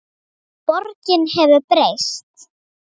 Borgin hefur breyst.